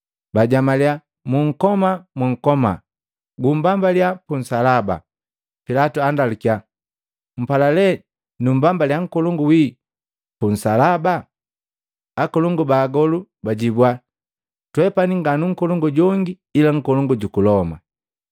Bajamaliya, “Munkoma! Munkoma! Gumbambaliya punsalaba!” Pilatu andalukiya, Mpala le numbambaliya Nkolongu wi pu nsalaba. Akolongu ba agolu bajibua, “Twepani nganu nkolongu jongi ila nkolongu juku Loma.”